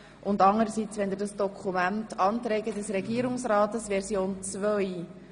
Und anderseits sprechen wir über das Dokument «Anträge des Regierungsrates Version 2».